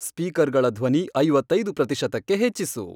ಸ್ಪೀಕರ್ಗಳ ಧ್ವನಿ ಐವತ್ತೈದು ಪ್ರತಿಶತಕ್ಕೆ ಹೆಚ್ಚಿಸು